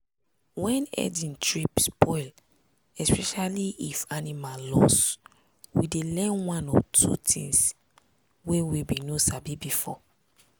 when herding trip spoil especially if animal loss we dey learn one or two things wey we bin no sabi before.